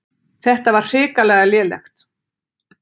Þetta var hrikalega lélegt.